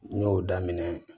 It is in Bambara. N y'o daminɛ